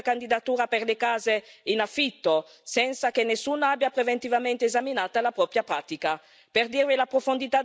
a vedersi rifiutare la propria candidatura per le case in affitto, senza che nessuno abbia preventivamente esaminato la pratica.